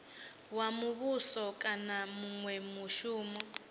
wa muvhuso kana munwe mushumi